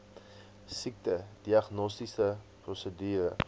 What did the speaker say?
siekte diagnostiese prosedure